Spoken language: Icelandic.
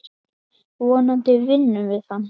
Vonandi vinnum við hann.